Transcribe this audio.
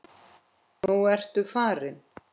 Nú ertu farinn.